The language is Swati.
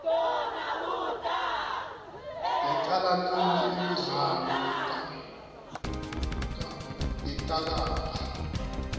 yaqala nini imidlalo yeqakamba